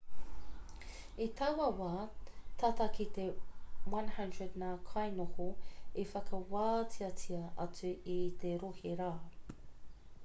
i taua wā tata ki te 100 ngā kainoho i whakawāteatia atu i te rohe rā